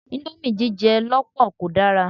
Íńdómì jíjẹ lọ́pọ̀ kò dára.